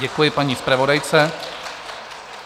Děkuji paní zpravodajce.